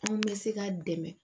Anw bɛ se k'a dɛmɛ